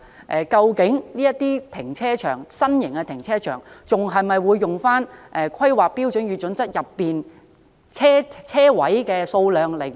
此外，這類新型停車場的車位數量是否仍沿用《香港規劃標準與準則》的準則？